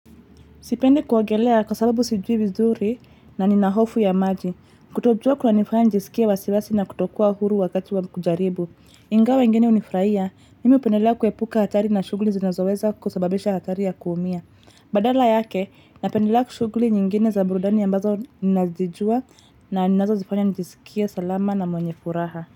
Sipendi kuogelea kwa sababu sijui vizuri na nina hofu ya maji. Kutojua kunanifanya nisikie wasiwasi na kutokuwa huru wakati wa kujaribu. Ingawa wengine hunifurahia, mimi hupendela kuepuka hatari na shughuli zinazoweza kusababisha hatari ya kuumia. Badala yake, napendela shughuli nyingine za burudani ambazo ninazijua na ninazozifanya nijisikie salama na mwenye furaha.